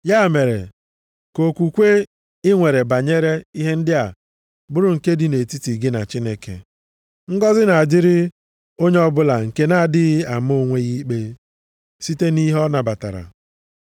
Ya mere, ka okwukwe i nwere banyere ihe ndị a bụrụ nke dị nʼetiti gị na Chineke. Ngọzị na-adịrị onye ọbụla nke na-adịghị ama onwe ya ikpe site nʼihe ọ nabatara.